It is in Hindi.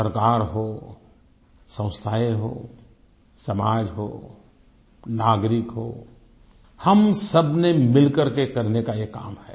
सरकार हो संस्थाएँ हों समाज हो नागरिक हो हम सब ने मिल करके ये करने का काम है